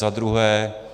Za druhé.